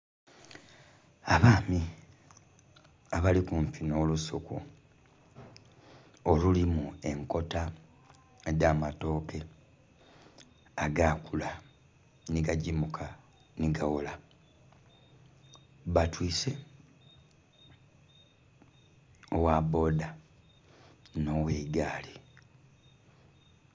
Abaami abali kumpi nh'olusuku olulimu enkota edh'amatooke agakula nhi gagimuka nhi gaghola batwise ogha boda nhi ogh'egaali.